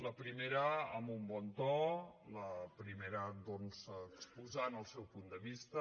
la primera amb un bon to la primera doncs exposant el seu punt de vista